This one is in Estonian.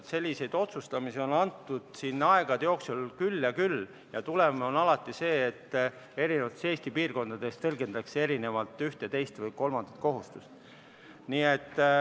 Selliseid otsustamise on siin aegade jooksul antud küll ja küll ja tulemus on alati see, et Eesti eri piirkondades tõlgendatakse erinevalt ühte, teist või kolmandat kohustust.